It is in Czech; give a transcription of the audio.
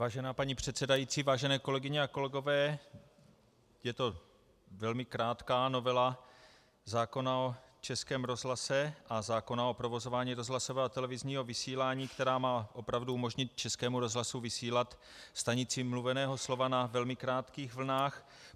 Vážená paní předsedající, vážené kolegyně a kolegové, je to velmi krátká novela zákona o Českém rozhlase a zákona o provozování rozhlasového a televizního vysílání, která má opravdu umožnit Českému rozhlasu vysílat stanici mluveného slova na velmi krátkých vlnách.